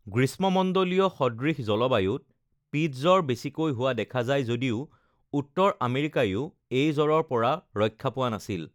গ্ৰীষ্মমণ্ডলীয়-সদৃশ জলবায়ুত পীত জ্বৰ বেছিকৈ হোৱা দেখা যায় যদিও উত্তৰ আমেৰিকাইও এই জ্বৰৰ পৰা ৰক্ষা পোৱা নাছিল৷